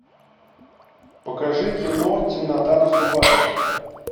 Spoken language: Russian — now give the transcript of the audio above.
покажи кино темнота наступает